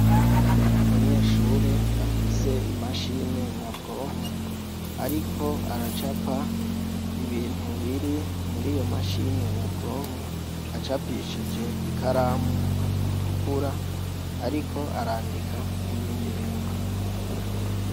Umunyeshure afise imashine nyabwonko, ariko aracapa ibintu biri muri iyo mashine nyabwonko acapishije ikaramu itukura, ariko arandika n'ibindi bindi.